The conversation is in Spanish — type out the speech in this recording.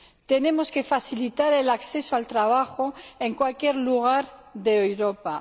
Tenemos que facilitar el acceso al trabajo en cualquier lugar de Europa.